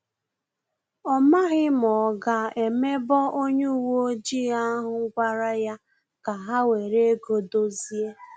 Ọ maghị ma ọ ga emebo onye uwe ojii ahụ gwara ya ka ha were ego dozie